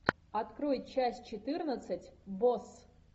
открой часть четырнадцать босс